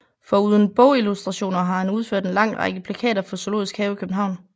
Foruden bogillustrationer har han udført en lang række plakater for Zoologisk Have i København